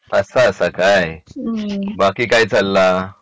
असा आसा काय बाकी काय चालला